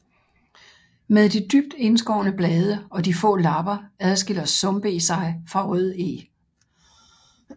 Med de dybt indskårne blade og de få lapper adskiller sumpeg sig fra rødeg